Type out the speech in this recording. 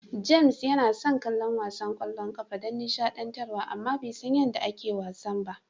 James yana son kallon wasan ƙwallon ƙafa don nishaɗantar wa amma bai san yadda ake wasan ba.